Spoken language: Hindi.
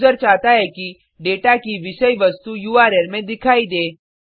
यूज़र चाहता है कि डेटा की विषय वस्तु उर्ल में दिखाई दे